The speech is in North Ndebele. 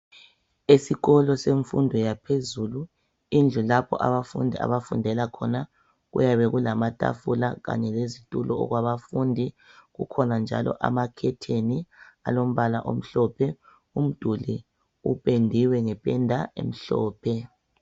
Esikolo semfundo yaphezulu indlu lapho abafundi abafundela khona kuyabe kulamatafula kanye lezitulo okwabafundi. Kukhona njalo amakhetheni alombala omhlophe, umduli upendiwe ngependa emhlophe.